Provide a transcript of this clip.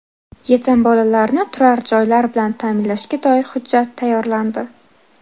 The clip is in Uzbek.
Yetim bolalarni turar joylar bilan ta’minlashga doir hujjat tayyorlandi.